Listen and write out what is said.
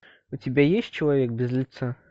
у тебя есть человек без лица